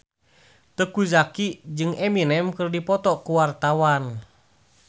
Teuku Zacky jeung Eminem keur dipoto ku wartawan